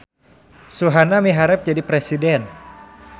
Suhana miharep jadi presiden